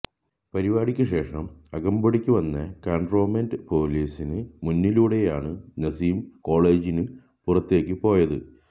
പരിപാടിക്ക് ശേഷം ശേഷം അകമ്പടിക്കു വന്ന കൻറോമെൻറ് പൊലീസിന് മുന്നിലൂടെയാണ് നസീം കോളജിന് പുറത്തേക്കും പോയത്